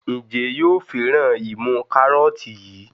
Njé yóò féràn imú karọọti yí?